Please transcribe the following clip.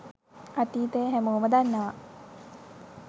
අතීතය හැමෝම දන්නවා.